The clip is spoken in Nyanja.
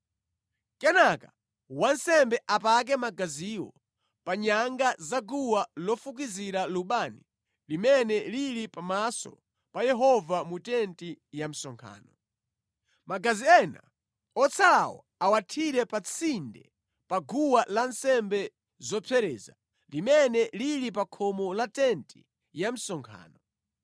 Kenaka wansembe apake magaziwo pa nyanga za guwa lofukizira lubani limene lili pamaso pa Yehova mu tenti ya msonkhano. Magazi ena otsalawo awathire pa tsinde pa guwa lansembe zopsereza, limene lili pa khomo la tenti ya msonkhano.